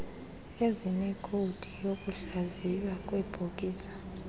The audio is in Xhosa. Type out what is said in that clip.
ezineekhowudi zokuhlaziywa kweebhokisi